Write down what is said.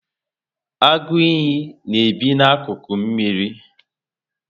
Agu iyi na ebi na akuku mmírí